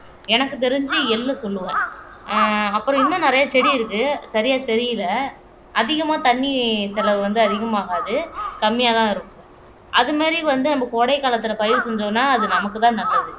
எனக்கு தெரிஞ்சு எள்ளு சொல்லுவேன் ஆஹ் அப்புறம் இன்னும் நிறைய செடி இருக்கு சரியா தெரியலே அதிகமா தண்ணி செலவு வந்து அதிகமாகாது கம்மியாதான் இருக்கும் அது மாதிரி வந்து நம்ம கோடை காலத்திலே பயிர் செஞ்சோம்ன்னா அது நமக்குதான் நல்லது